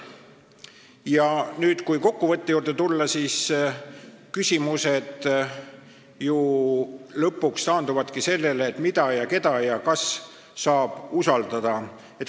Kui nüüd kokkuvõtte juurde tulla, siis võib öelda, et küsimused taanduvad lõpuks ju sellele, mida ja keda ja kas saab usaldada.